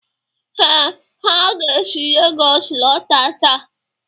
Ee, ha ga-esi Lagos lọta taa.